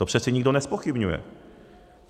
To přece nikdo nezpochybňuje.